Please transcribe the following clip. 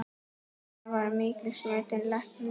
Nanna var mikils metinn læknir.